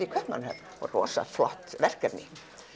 í Kaupmannahöfn rosa flott verkefni